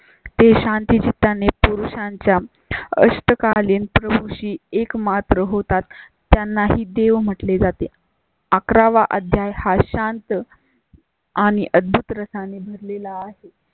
ते शांती ता ने पुरुषांच्या अष्ट कालीन प्रभु शी एक मात्र होतात. त्यांना ही देव म्हटले जाते. अकरा वा अध्याय हा शांत. आणि अद्भुत रसा ने भरले ला आहे.